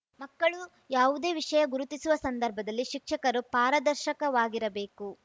ಮಕ್ಕಳು ಯಾವುದೇ ವಿಷಯ ಗುರುತಿಸುವ ಸಂದರ್ಭದಲ್ಲಿ ಶಿಕ್ಷಕರು ಪಾರದರ್ಶಕವಾಗಿರಬೇಕು